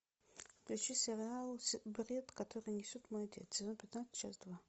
включи сериал бред который несет мой отец сезон пятнадцать часть два